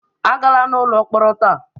Agala n'ụlọ mkpọrọ taa!